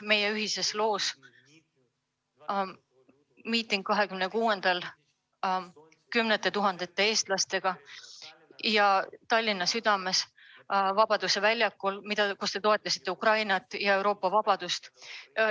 Meie ühises loos on juba hea lehekülg: 26. veebruari miiting, kus Tallinna südames Vabaduse väljakul osales kümneid tuhandeid eestlasi ja kus te toetasite Ukrainat ja Euroopa vabadust.